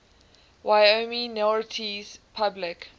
wyoming notaries public